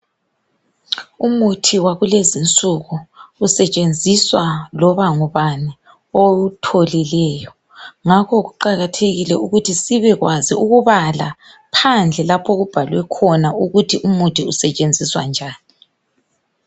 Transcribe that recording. Umuthi wakulezinsuku usetshenziswa loba ngubani owutholileyo. Ngakho kuqakathekile ukuthi sibekwazi ukubala phandle lapho okubhalwe khona ukuthi umuthi usetshenziswa njani.